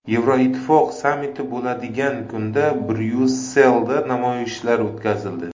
Yevroittifoq sammiti bo‘ladigan kunda Bryusselda namoyishlar o‘tkazildi.